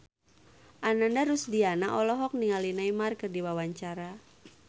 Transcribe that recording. Ananda Rusdiana olohok ningali Neymar keur diwawancara